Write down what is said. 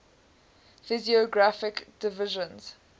physiographic divisions